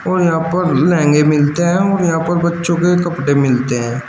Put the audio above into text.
और यहां पर लहंगे मिलते हैं और यहां पर बच्चों के कपड़े मिलते हैं।